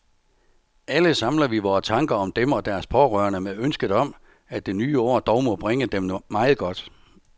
Alle samler vi vore tanker om dem og deres pårørende med ønsket om, at det nye år dog må bringe dem meget godt.